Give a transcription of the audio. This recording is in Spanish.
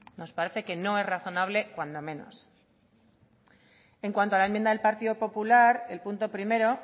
nos parece que no es razonable cuando menos en cuanto a la enmienda del partido popular el punto primero